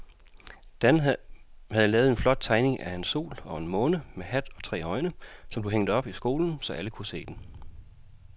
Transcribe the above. Dan havde lavet en flot tegning af en sol og en måne med hat og tre øjne, som blev hængt op i skolen, så alle kunne se den.